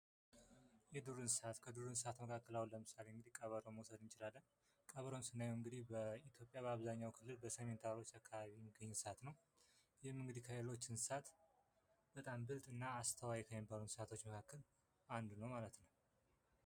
የዱር እንስሳት ከዱር እንስሳት መካከል ቀበሮን መውሰድ እንችላለን ቀበሮን ስናየው በኢትዮጵያ አብዛኛው በሰሜን ተራሮች በብዛት የሚገኝ እንስሳ ነው። ይህም እንግዲህ ከሌሎች እንስሳት አስተዋይ እና ብልጥ ከሚባሉት እንስሳቶች መካከል አንዱ ነው ማለት ነው።